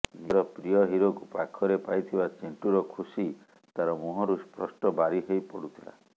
ନିଜର ପ୍ରିୟ ହିରୋକୁ ପାଖରେ ପାଇଥିବା ଚିଣ୍ଟୁର ଖୁସି ତାର ମୁହଁରୁ ସ୍ପଷ୍ଟ ବାରି ହେଇ ପଡୁଥିଲା